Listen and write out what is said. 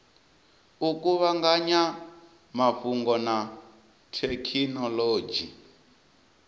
u kuvhanganya mafhungo na thekhinolodzhi